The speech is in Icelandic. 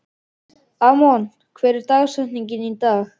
Amon, hver er dagsetningin í dag?